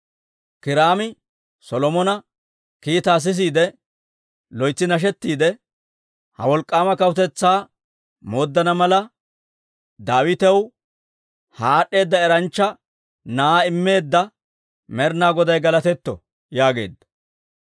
Kiiraami Solomona kiitaa sisiide loytsi nashettiidde, «Ha wolk'k'aama kawutetsaa mooddana mala, Daawitaw ha aad'd'eeda eranchcha na'aa immeedda Med'inaa Goday galatetto» yaageedda.